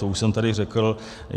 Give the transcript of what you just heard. To už jsem tady řekl.